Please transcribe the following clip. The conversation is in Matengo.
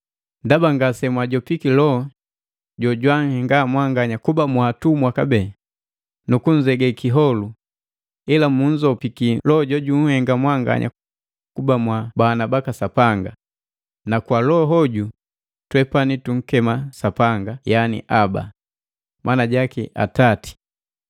Ndaba ngasemwajopiki Loho jojwanhenga mwanganya kuba mwaatumwa kabee nukunzege kiholu, ila munzopiki Loho jojunhenga mwanganya kuba mwabana baka Sapanga, na kwa Loho hoju, twepwani tunkema Sapanga, yani “Aba!” Mana jaki, “Atati”